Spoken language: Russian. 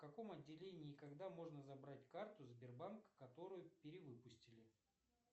в каком отделении и когда можно забрать карту сбербанка которую перевыпустили